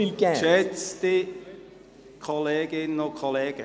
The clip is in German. Geschätzte Kolleginnen und Kollegen.